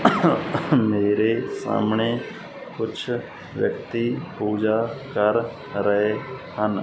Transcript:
ਮੇਰੇ ਸਾਹਮਣੇ ਕੁਛ ਵਿਅਕਤੀ ਪੂਜਾ ਕਰ ਰਹੇ ਹਨ।